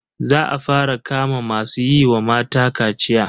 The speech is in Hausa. Za a fara kama masu yi wa mata kaciya.